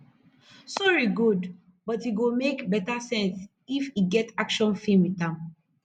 sori gud but e go mek beta sense if e get action film wit am